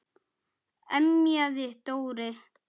emjaði Dóri.